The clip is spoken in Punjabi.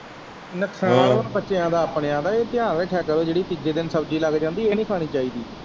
ਨੁਕਸਾਨ ਏ ਬੱਚਿਆਂ ਦਾ ਆਪਣਿਆਂ ਦਾ ਇਹ ਧਿਆਨ ਰੱਖਿਆ ਕਰੋ ਜਿਹੜੀ ਤੀਜੇ ਦਿਨ ਸ਼ਬਜੀ ਲੱਗ ਜਾਂਦੀ ਏ ਨੀ ਖਾਣੀ ਚਾਹੀਦੀ।